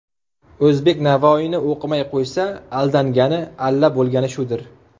O‘zbek Navoiyni o‘qimay qo‘ysa, Aldangani, alla bo‘lgani shudir.